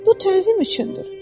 Bu təzim üçündür,